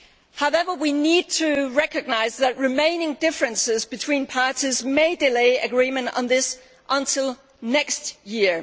However, we need to recognise that remaining differences between parties may delay agreement on this until next year.